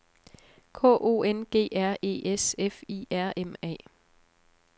K O N G R E S F I R M A